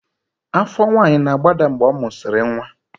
Afọ nwanyị na-agbada mgbe ọ mụsịrị nwa